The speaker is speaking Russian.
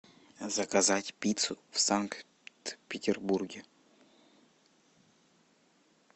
заказать пиццу в санкт петербурге